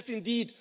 Yes, indeed.